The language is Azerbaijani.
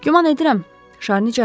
Güman edirəm, Şarni cavab verdi.